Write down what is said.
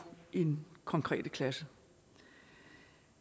i den konkrete klasse